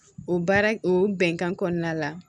O baara o bɛnkan kɔnɔna la